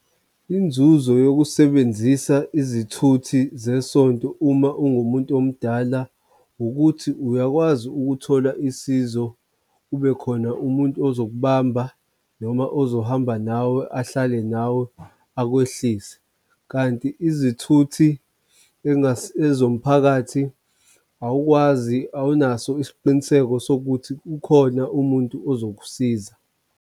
Inzuzo yokusebenzisa izithuthi zesonto uma ungumuntu omdala, ukuthi uyakwazi ukuthola usizo kube khona umuntu ozokubamba noma ozohamba nawe ahlale nawe akwehlise, kanti izithuthi engase ezomphakathi awukwazi awunaso isiqiniseko sokuthi ukhona umuntu ozokusiza.